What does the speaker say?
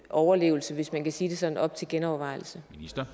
overlevelse hvis man kan sige det sådan op til genovervejelse